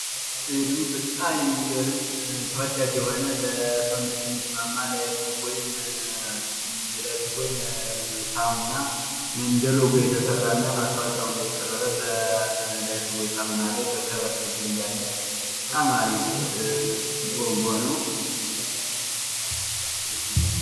ይህ ደግሞ በጣም የሚገርም ተወዳጅ የሆነ ለሰውነት የሚስማማ ላይፍ ቦይ ሳሙና እንደ ሎጎ የተሰራ እና ማስታወቂያ ሁኖ የቀርበበት በላይፍ ቦይ ሣሙና ላይ በከቨር ፔጁ ላይ ያለ በጣም አሪፍ ሎጎ ነው።